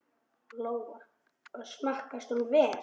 Lóa: Og smakkast hún vel?